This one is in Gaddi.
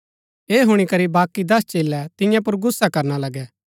ऐह हुणी करी बाकी दस चेलै तियां पुर गुस्सा करना लगै